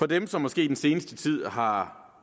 dem som måske i den seneste tid har